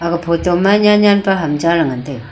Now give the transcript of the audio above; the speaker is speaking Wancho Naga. aga photo ma nyan nyan pe ham cha le ngan taiga.